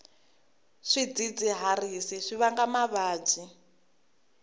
swidzidziharisi swi vanga mavabyi